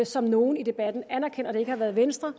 som nogle i debatten anerkender at det ikke har været venstre